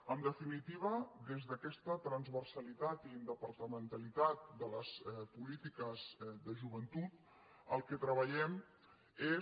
en definitiva des d’aquesta transversalitat i interdepartamentalitat de les polítiques de joventut el que treballem és